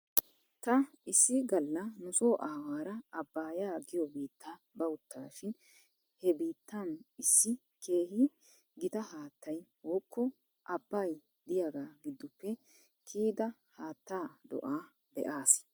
Taa issi galla nuso aawaara abbaayaa giyoo biita bawtaashi he biittan issi keehi gita haattay wokko abbay diyaagaa giddoppe kiyida haattaa do'aa be'as.